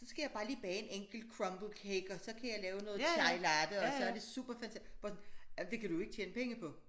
Så skal jeg bare lige bage en enkelt crumble cake og så kan jeg lave noget chai latte og så er det super fantastisk but ah men det kan du jo ikke tjene penge på